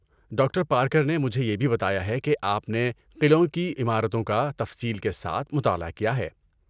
Doctor Parker نے مجھے یہ بھی بتایا ہے کہ آپ نے قلعوں کی عمارتوں کا تفصیل کے ساتھ مطالعہ کیا ہے۔